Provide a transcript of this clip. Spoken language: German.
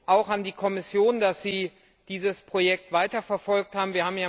Danke auch an die Kommission, dass Sie dieses Projekt weiterverfolgt haben.